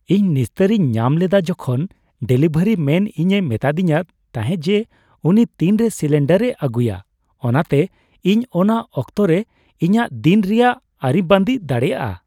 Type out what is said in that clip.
ᱤᱧ ᱱᱤᱥᱛᱟᱹᱨᱤᱧ ᱧᱟᱢ ᱞᱮᱫᱟ ᱡᱚᱠᱷᱚᱱ ᱰᱮᱞᱤᱵᱷᱟᱨᱤ ᱢᱮᱱ ᱤᱧᱮ ᱢᱤᱛᱟᱫᱤᱧ ᱛᱟᱦᱮᱸ ᱡᱮ ᱩᱱᱤ ᱛᱤᱱᱨᱮ ᱥᱤᱞᱤᱱᱰᱟᱨᱮ ᱟᱹᱜᱩᱭᱟ, ᱚᱱᱟᱛᱮ ᱤᱧ ᱚᱱᱟ ᱚᱠᱛᱚᱨᱮ ᱤᱧᱟᱹᱜ ᱫᱤᱱ ᱨᱮᱭᱟᱜ ᱟᱹᱨᱤᱵᱟᱹᱫᱤ ᱫᱟᱲᱮᱭᱟᱜᱼᱟ ᱾